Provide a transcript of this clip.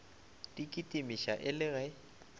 di kitimiša e le ge